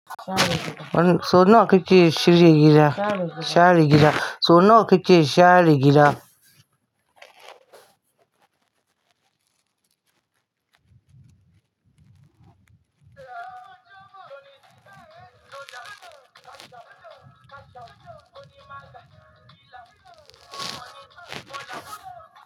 So nawa ka ke shirya gida, share gida. Sonu ke ti sheri gira.